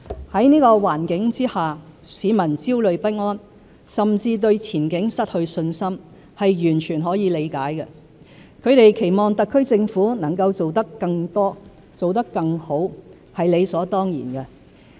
在這個環境下，市民焦慮不安，甚至對前景失去信心，是完全可以理解的；他們期望特區政府能做得更多、更好，是理所當然的。